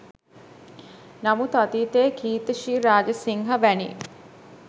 නමුත් අතීතයේ කීර්ති ශ්‍රී රාජසිංහ වැනි